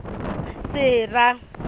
sera